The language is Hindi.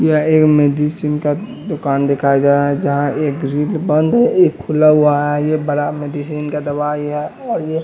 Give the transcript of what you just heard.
यह मेडिसिन का दुकान दिखाया जा रहा है जहाँ एक ग्रिल बंद है एक खुला हुआ है ये बड़ा मेडिसिन में--